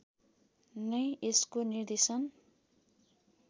नै यसको निर्देशन